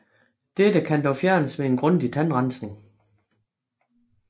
Dette kan dog fjernes ved grundig tandrensning